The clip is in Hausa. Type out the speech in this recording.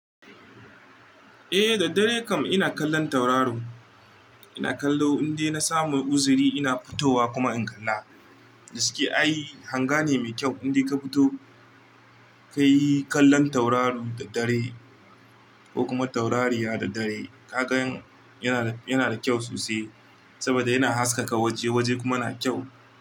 Eh da dare kam ina kallon tauraro. Ina kallo indai na samu uzuri ina fitowa kuma in kalla. Da suke ai hanga ne mai kyau inda ka fito ka yi kallon tauraro da dare ko kuma taurariya da dare. Ka gan yana da kyau sosai saboda yana haskaka waje waje kuma yana kyau.